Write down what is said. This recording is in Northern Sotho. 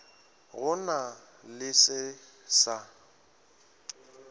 go na le se sa